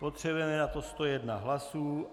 Potřebujeme na to 101 hlasů.